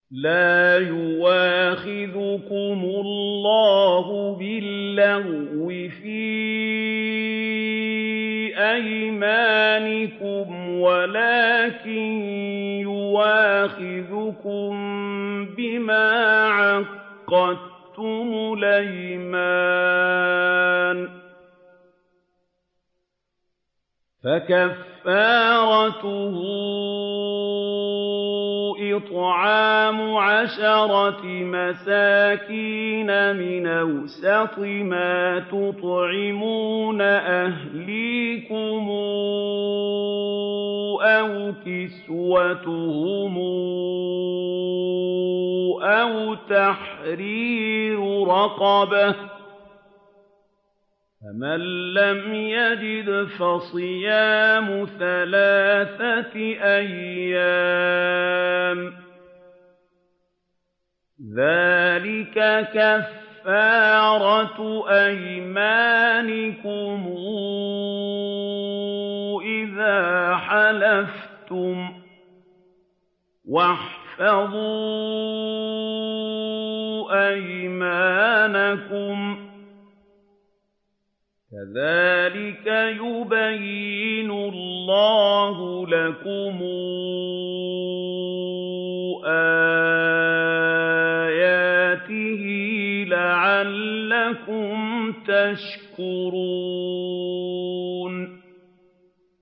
لَا يُؤَاخِذُكُمُ اللَّهُ بِاللَّغْوِ فِي أَيْمَانِكُمْ وَلَٰكِن يُؤَاخِذُكُم بِمَا عَقَّدتُّمُ الْأَيْمَانَ ۖ فَكَفَّارَتُهُ إِطْعَامُ عَشَرَةِ مَسَاكِينَ مِنْ أَوْسَطِ مَا تُطْعِمُونَ أَهْلِيكُمْ أَوْ كِسْوَتُهُمْ أَوْ تَحْرِيرُ رَقَبَةٍ ۖ فَمَن لَّمْ يَجِدْ فَصِيَامُ ثَلَاثَةِ أَيَّامٍ ۚ ذَٰلِكَ كَفَّارَةُ أَيْمَانِكُمْ إِذَا حَلَفْتُمْ ۚ وَاحْفَظُوا أَيْمَانَكُمْ ۚ كَذَٰلِكَ يُبَيِّنُ اللَّهُ لَكُمْ آيَاتِهِ لَعَلَّكُمْ تَشْكُرُونَ